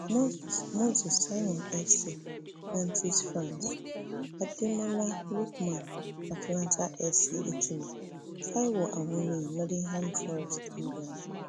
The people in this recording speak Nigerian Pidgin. moses moses simon fc nantes france ademola lookman atalanta fc italy taiwo awoniyi nottingham forest england